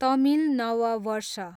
तमिल नव वर्ष